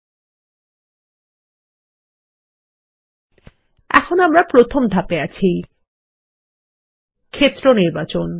আমরা এখন প্রথম ধাপে আছি ক্ষেত্র নির্বাচন